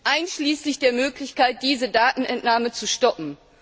einschließlich der Möglichkeit, diese Datenentnahme zu stoppen.